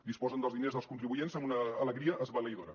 disposen dels diners dels contribuents amb una alegria esbalaïdora